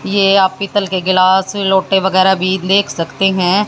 ये आप पीतल के गिलास लोटे वैगरा भी देख सकते हैं।